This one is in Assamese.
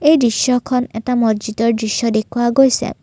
এই দৃশ্যখন এটা মচজিদৰ দৃশ্য দেখুওৱা গৈছে।